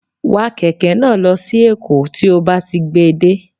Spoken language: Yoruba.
Wa kẹ̀kẹ́ náà lọ sí èkó tí ó bá ti gbé e dé